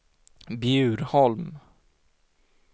Bjurholm